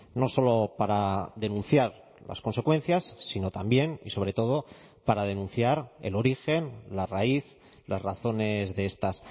no solo para denunciar las consecuencias sino también y sobre todo para denunciar el origen la raíz las razones de estas